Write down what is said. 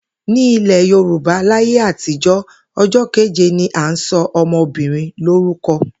Ní ilè̩ Yorùbá láyé àtijó̩, o̩jó̩ kéje ni à ń so̩ o̩mo̩bìnrin lórúko̩